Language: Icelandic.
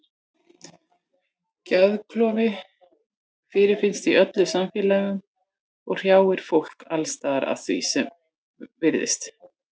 Geðklofi fyrirfinnst í öllum samfélögum og hrjáir fólk alls staðar að því er virðist.